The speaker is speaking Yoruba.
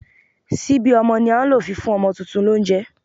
Síbí ọmọ ni a ń lò fi fún ọmọ tuntun lóunjẹ